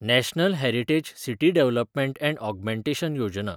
national heritage city development and augmentation Yojana